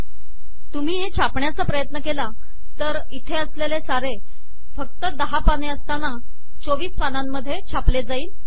तुम्ही हे छापण्याचा प्रयत्न केला तर इथे असलेले सारे फक्त १० पाने असताना २४ पानांमधे छापले जाईल